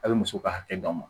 A' bɛ muso ka hakɛ d'a ma